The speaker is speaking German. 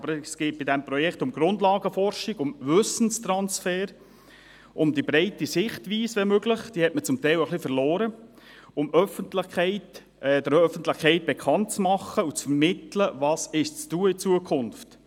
Aber es geht in diesem Projekt um Grundlagenforschung, um Wissenstransfer, um die breite Sichtweise, wenn möglich – diese hat man zum Teil ein wenig verloren –, um der Öffentlichkeit bekannt zu machen und ihr zu vermitteln, was in Zukunft zu tun ist.